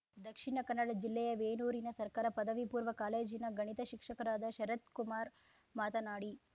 ದಕ್ಷಿಣ ಕನ್ನಡ ಜಿಲ್ಲೆಯ ವೇಣೂರಿನ ಸರ್ಕಾರ ಪದವಿಪೂರ್ವ ಕಾಲೇಜಿನ ಗಣಿತ ಶಿಕ್ಷಕರಾದ ಶರತ್‌ಕುಮಾರ್‌ ಮಾತನಾಡಿ